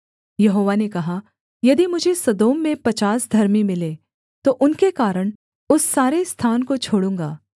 यहोवा ने कहा यदि मुझे सदोम में पचास धर्मी मिलें तो उनके कारण उस सारे स्थान को छोड़ूँगा